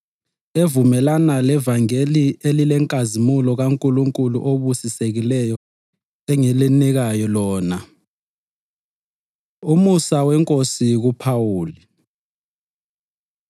evumelana levangeli elilenkazimulo kaNkulunkulu obusisekileyo, enginika lona. Umusa WeNkosi KuPhawuli